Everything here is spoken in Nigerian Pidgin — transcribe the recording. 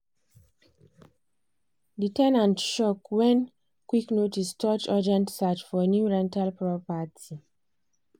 the ten ant shock when qik notice touch urgent search for new rental property.